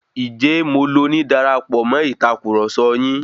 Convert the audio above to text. Ǹjé mo loni darapọ̀ mọ̀ Ìtàkurọ̀sọ yín?